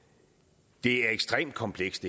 det her er ekstremt komplekst